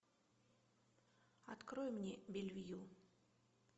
открой мне белвью